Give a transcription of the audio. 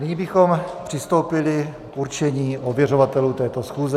Nyní bychom přistoupili k určení ověřovatelů této schůze.